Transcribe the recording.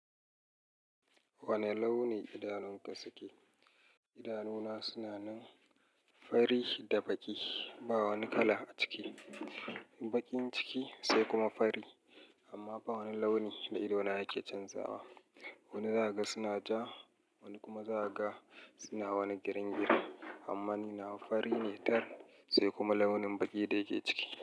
Wane launi idanunka suke? Idanuna suna nan fari da baƙi, ba wani kala a ciki. Baƙin ciki sai kuma fari, amma ba wani launi da idona yake canzawa. Wani za a ga suna ja, wani kuma za a ga suna wani girin-girin. Amma ni na fari ne tar, sai kuma launin baƙi da yake ciki.